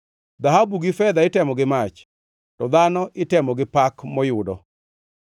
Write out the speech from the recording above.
Dhahabu gi fedha itemo gi mach, to dhano itemo gi pak moyudo.